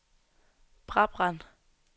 Brabrand